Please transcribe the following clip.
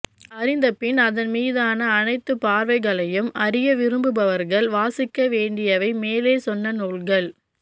அறிந்தபின் அதன்மீதான அனைத்துப்பார்வைகளையும் அறிய விரும்புபவர்கள் வாசிக்கவேண்டியவை மேலே சொன்ன நூல்கள்